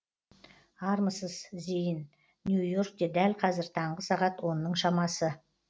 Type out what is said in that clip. армысыз зейін нью йоркте дәл қазір таңғы сағат онның шамасы